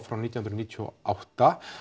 frá nítján hundruð níutíu og átta